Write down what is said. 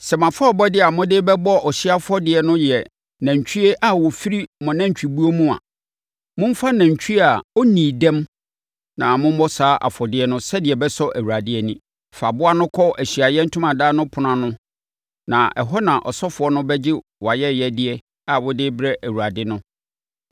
“ ‘Sɛ mo afɔrebɔdeɛ a mode rebɛbɔ ɔhyeɛ afɔdeɛ no yɛ nantwie a ɔfiri mo nantwibuo mu a, momfa nantwie a ɔnnii dɛm na mommɔ saa afɔdeɛ no sɛdeɛ ɛbɛsɔ Awurade ani. Fa aboa no kɔ Ahyiaeɛ Ntomadan no ɛpono ano na ɛhɔ na asɔfoɔ no bɛgye wʼayɛyɛdeɛ a wode rebrɛ Awurade no.